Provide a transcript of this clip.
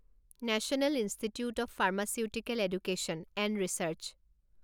national Institute of Pharmaceutical Education and research